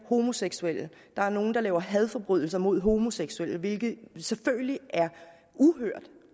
homoseksuelle der er nogle der laver hadforbrydelser mod homoseksuelle hvilket selvfølgelig er uhørt